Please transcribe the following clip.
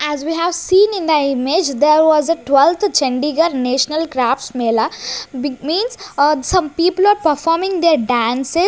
As we have seen in the image there was a twelfth Chandigarh national crafts mela means some people performing their dance--